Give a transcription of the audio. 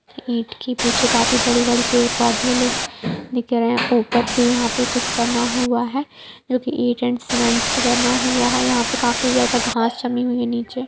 ईंट की पीछे काफी बड़ी-बड़ी पेड़-पौधे दिख रहे हैं। ऊपर पे यहाँ पर कुछ बना हुआ हैजो की एक ईंट और सीमेंट से बना हुआ हैयहाँ पे काफी ज्यादा घास जमी हुई है नीचे।